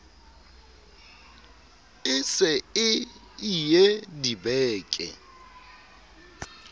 e se e ie dibeke